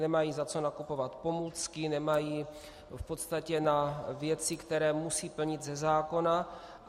Nemají za co nakupovat pomůcky, nemají v podstatě na věci, které musí plnit ze zákona.